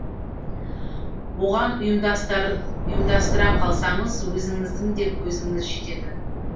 оған ұйымдастыра қалсаңыз өзіңіздің де көзіңіз жетеді